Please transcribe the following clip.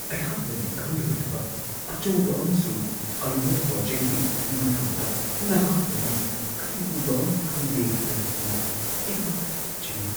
ꯑꯩꯍꯥꯛꯅꯗꯤ ꯈꯪꯂꯔꯣꯢꯗꯕ ꯑꯆꯧꯕ ꯑꯃꯁꯨꯡ ꯑꯔꯨꯕ ꯄ꯭ꯔꯣꯖꯦꯛꯀꯤ ꯃꯇꯥꯡꯗ ꯅꯍꯥꯛꯅꯗꯤ ꯀꯔꯤꯒꯨꯝꯕ ꯑꯃ ꯈꯪꯂꯦ ꯍꯥꯏꯕꯁꯤ ꯑꯩꯍꯥꯛ ꯆꯤꯡꯅꯩ ꯫